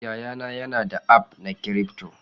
Yayana yana da aff na cryfto.